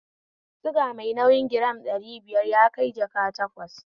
Suga mai nauyi giram ɗari biyar yakai jaka takwas